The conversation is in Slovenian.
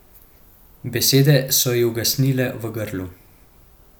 Besede so ji ugasnile v grlu.